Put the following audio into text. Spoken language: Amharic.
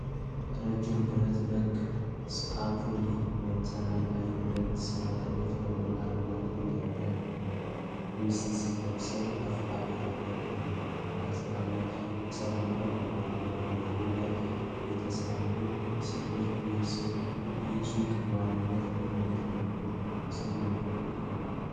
ረጃጅም ብረት ነክ ስካፎልዲንግ (መሰላል) ላይ ሁለት ሰራተኞች ደማቅ አረንጓዴ የደህንነት ቬስት ለብሰው በከፍታ ቦታ ላይ በግንባታ ስራ ላይ ተሰማርተዋል። በበሩ ላይ የተሳሉት ሥዕሎች ይህ ሱቅ በዋነኝነት ምን ዓይነት አገልግሎት እንደሚሰጥ ሊያመለክቱ ይችላሉ?